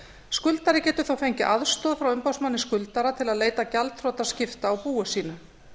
skuldari getur þó fengið aðstoð frá umboðsmanni skuldara til að leita gjaldþrotaskipta á búi sínu